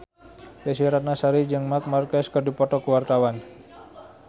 Desy Ratnasari jeung Marc Marquez keur dipoto ku wartawan